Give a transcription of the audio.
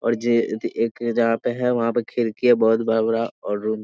और जे ए एक जहाँ पे है वहाँ पे खिड़की है बहोत बड़ा-बड़ा और रूम --